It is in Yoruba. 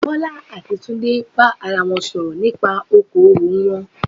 Bọ́lá àti Túndé bá ara wọn sọ̀rọ̀ nípa okoòwò wọn